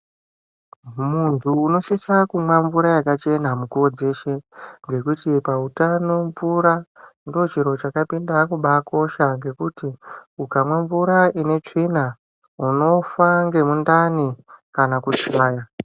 Muntu unosisa kumwa mvura yakachena mukuwo dzeshe, ngekuti pautano mvura, ndochiro chakapinda kubaakosha ngekuti ,ukamwa mvura ine tsvina, unofa ngemundani kana kushaya.